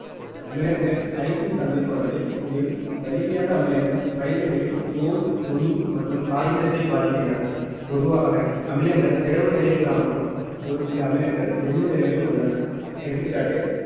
அமிலங்கள் அரிக்கும் தன்மை கொண்டவை மேலும் வலிமையான அமிலங்கள் மனிதர்களின் தோல், துணி மற்றும் காகிதத்தை பாதிக்கின்றன பொதுவாக அமிலங்கள் திரவ நிலையில் காணப்படும் ஒரு சில அமிலங்கள் திண்ம நிலையிலும் உள்ளன எடுத்துக்காட்டு